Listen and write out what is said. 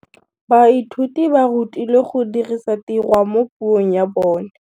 Baithuti ba rutilwe go dirisa tirwa mo puong ya bone.